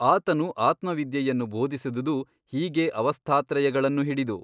ಅತನು ಆತ್ಮವಿದ್ಯೆಯನ್ನು ಬೋಧಿಸಿದುದು ಹೀಗೇ ಅವಸ್ಥಾತ್ರಯಗಳನ್ನು ಹಿಡಿದು.